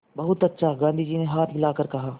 बहुत अच्छा गाँधी जी ने हाथ हिलाकर कहा